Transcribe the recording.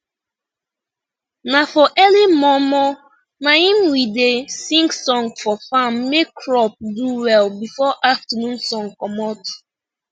na for early mor mor naim we da sing song for farm make crop do well before afternoon sun comot